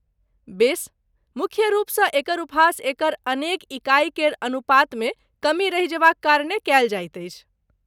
बेस, मुख्य रूपसँ एकर उपहास एकर अनेक इकाइ केर अनुपातमे कमी रहि जेबाक कारणे कयल जाइत अछि।